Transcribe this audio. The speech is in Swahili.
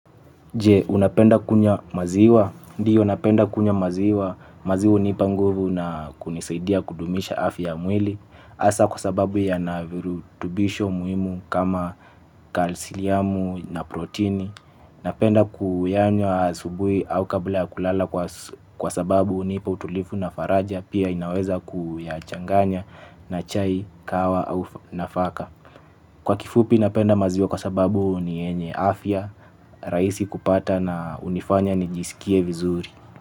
Je unapenda kunywaa maziwa, ndiyo napenda kunywa maziwa, maziwa hunipa nguvu na kunisaidia kudumisha afya ya mwili hasa kwa sababu yanavyorutubisho muhimu kama kalsiamu na protini. Napenda kuyanywa asubuhi au kabla kulala kwa sababu hunipa utulivu na faraja pia inaweza kuyachanganya na chai kawa au nafaka. Kwa kifupi napenda maziwa kwa sababu ni yenye afya, rahisi kupata na hunifanya nijisikie vizuri.